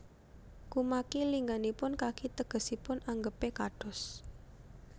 Kumaki lingganipun kaki tegesipun anggepé kados